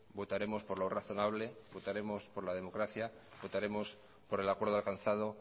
votaremos por lo razonable votaremos por la democracia votaremos por el acuerdo alcanzado